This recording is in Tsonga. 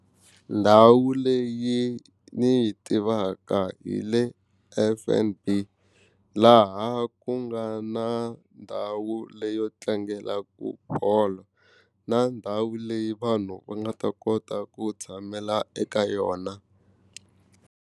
Ndhawu leyi ni yi tivaka hi le F_N_B laha ku nga na ndhawu leyo tlangelaka bolo na ndhawu leyi vanhu va nga ta kota ku tshamela eka yona.